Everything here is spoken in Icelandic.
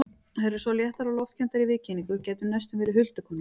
Þær eru svo léttar og loftkenndar í viðkynningu, gætu næstum verið huldukonur.